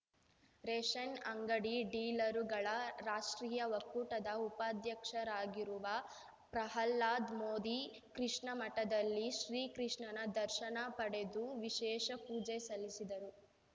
ration ಅಂಗಡಿ ಡೀಲರುಗಳ ರಾಷ್ಟ್ರೀಯ ಒಕ್ಕೂಟದ ಉಪಾಧ್ಯಕ್ಷರಾಗಿರುವ ಪ್ರಹ್ಲಾದ್‌ ಮೋದಿ ಕೃಷ್ಣ ಮಠದಲ್ಲಿ ಶ್ರೀಕೃಷ್ಣನ ದರ್ಶನ ಪಡೆದು ವಿಶೇಷ ಪೂಜೆ ಸಲ್ಲಿಸಿದರು